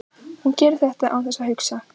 Hún gerir þetta án þess að hugsa.